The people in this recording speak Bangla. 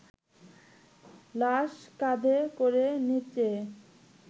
লাশ কাঁধে করে নিচে